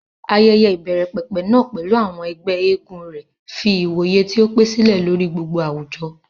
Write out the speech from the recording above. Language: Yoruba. Ayẹyẹ ìbẹ̀rẹ̀pẹ̀pẹ̀ náà, pẹ̀lú àwọn ẹgbẹ́ eégún rẹ̀, fi ìwòye tí ó pẹ́ sílẹ̀ lórí gbogbo àwùjọ.